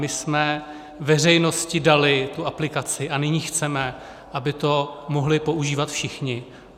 My jsme veřejnosti dali tu aplikaci a nyní chceme, aby to mohli používat všichni.